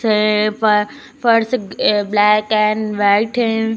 ये फ़ फर्श अह ब्लैक एंड व्हाइट है।